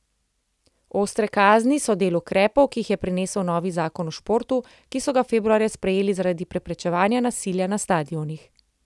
Ostre kazni so del ukrepov, ki jih je prinesel novi zakon o športu, ki so ga februarja sprejeli zaradi preprečevanja nasilja na stadionih.